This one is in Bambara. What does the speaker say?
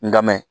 N ka mɛn